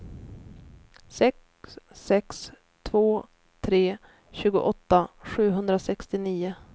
sex sex två tre tjugoåtta sjuhundrasextionio